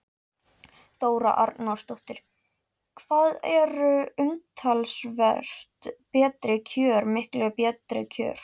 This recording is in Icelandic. Þóra Arnórsdóttir: Hvað eru umtalsvert betri kjör miklu betri kjör?